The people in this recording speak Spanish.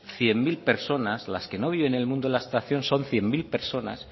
cien mil personas las que no viven en el mundo de abstracción son cien mil personas